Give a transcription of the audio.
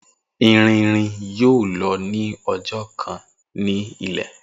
Irin irin yoo lọ ni ọjọ kan ni ilẹ.